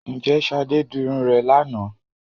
Ǹjẹ́ Ṣadé dirun rẹ̀ lánàá